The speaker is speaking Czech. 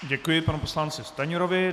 Děkuji panu poslanci Stanjurovi.